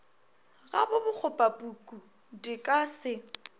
ga bokgobapuku di ka se